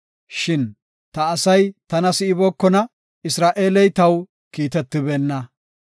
“Shin ta asay tana si7ibookona; Isra7eeley taw kiitetibeenna.